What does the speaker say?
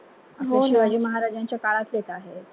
शिवाजी महाराजांच्या काळात होतं आहे